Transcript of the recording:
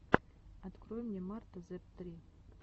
открой мне марта зэптри